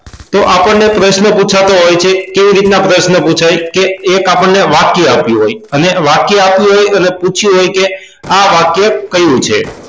તો આપણને પ્રશ્ન પૂછાતો હોય છે કેવી રીતે પ્રશ્ન પુછાય કે એક આપણને વાક્ય આપ્યું હોય અને વાક્ય આપ્યું હોય અને પૂછ્યું હોય કે આ વાક્ય કયું છે